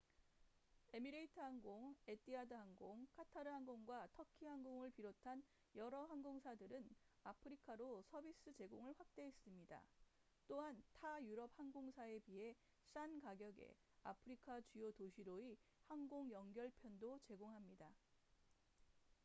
에미레이트 항공 에티하드 항공 카타르 항공과 터키 항공을 비롯한 여러 항공사들은 아프리카로 서비스 제공을 확대했습니다 또한 타 유럽 항공사에 비해 싼 가격에 아프리카 주요 도시로의 항공 연결 편도 제공합니다